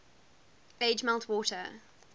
age melt water